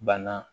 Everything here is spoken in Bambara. Banna